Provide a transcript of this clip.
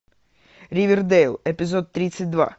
ривердейл эпизод тридцать два